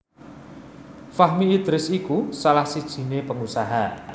Fahmi Idris iku salah sijiné pengusaha